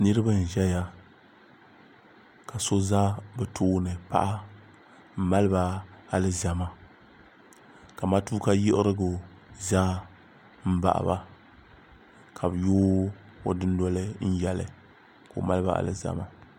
niraba n ʒɛya ka so ʒɛ bi tooni paɣa n maliba alizama ka matuuka yiɣirigu ʒɛ n baɣaba ka bi yooi o dundoli n yɛli ka o maliba alizama